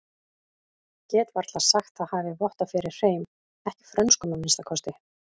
Get varla sagt það hafi vottað fyrir hreim, ekki frönskum að minnsta kosti.